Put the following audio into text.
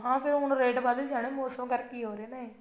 ਹਾਂ ਹੁਣ ਫੇਰ ਰੇਟ ਵਧ ਜਾਣੇ ਮੋਸਮ ਕਰਕੇ ਹੀ ਹੋ ਰਿਹਾ ਇਹ